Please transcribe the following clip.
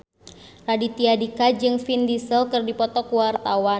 Raditya Dika jeung Vin Diesel keur dipoto ku wartawan